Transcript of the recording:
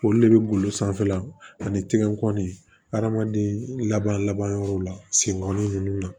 Olu de bɛ golo sanfɛla ani tigɛko ni adamaden laban laban yɔrɔw la senkɔrɔla ninnu na